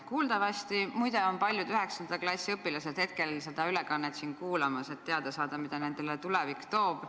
Kuuldavasti, muide, on paljud 9. klassi õpilased seda ülekannet siin kuulamas, et teada saada, mida tulevik neile toob.